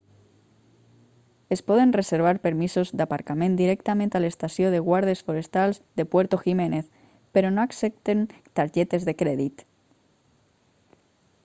es poden reservar permisos d'aparcament directament a l'estació de guardes forestals de puerto jiménez però no accepten targetes de crèdit